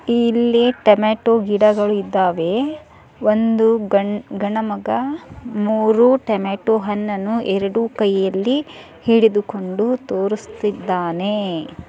ಇಲ್ಲಿ ಟೊಮೇಟೊ ಗಿಡಗಳು ಇದ್ದಾವೆ ಒಂದು ಗಂಡ ಮಗ ಮೂರು ಟೊಮೇಟೊ ಹಣ್ಣನ್ನು ಎರಡು ಕಿಯಲ್ಲಿ ಹಿಡಿದು ಕೊಂಡು ತೋರುಸ್ತಿದ್ದಾನೆ.